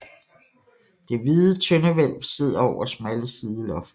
Det hvide tøndehvælv sidder over smalle sidelofter